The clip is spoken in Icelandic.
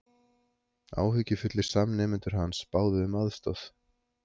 Áhyggjufullir samnemendur hans báðu um aðstoð